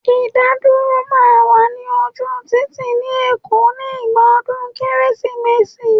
Idaduro máa wà ní ojú títì ni èkó nígbà ọdún Kérésìmesì